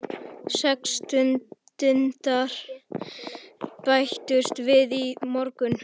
Sex stúdentar bættust við í morgun.